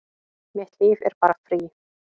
Mitt líf er bara frí